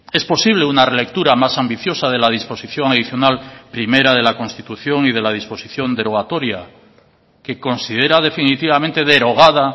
es posible una relectura más ambiciosa de la disposición adicional primera de la constitución y de la disposición derogatoria que considera definitivamente derogada